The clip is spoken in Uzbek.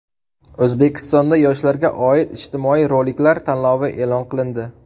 O‘zbekistonda yoshlarga oid ijtimoiy roliklar tanlovi e’lon qilindi.